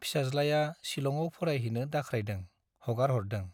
फिसाज्लाया सिलङाव फरायहैनो दाख्रायदों-हगारहरदों।